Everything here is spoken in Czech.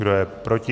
Kdo je proti?